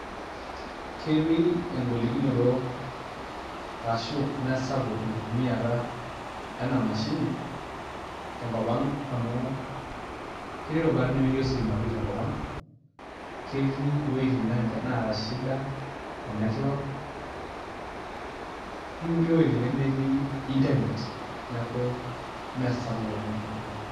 Ketii egolikinoto ashu mesapuk enkutumiata ena mashini tenkop ang' amuu ketii rubat nemeeti pii ositima tenkop ang', ketii weitin naata shida ee network netii nkulie wejitin nemeeti internet. Neeku mesapuk oleng ' tenkop ang'.